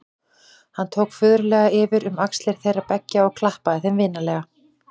Hann tók föðurlega yfir um axlir þeirra beggja og klappaði þeim vinalega.